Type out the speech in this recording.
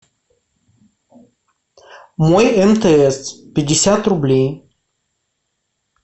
мой мтс пятьдесят рублей